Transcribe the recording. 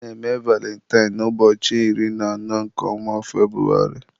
a na-eme valintine na ụbọchị iri na anọ nke ọnwa Febrụwarị.